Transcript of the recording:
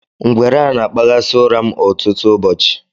Ngwere a na-akpaghasị ụra m ọtụtụ ụbọchị